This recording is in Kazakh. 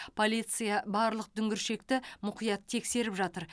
полиция барлық дүңгіршекті мұқият тексеріп жатыр